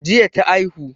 Jiya ta aihu